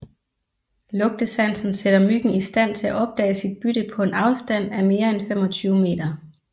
Lugtesansen sætter myggen i stand til opdage sit bytte på en afstand af mere end 25 meter